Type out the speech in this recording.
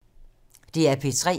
DR P3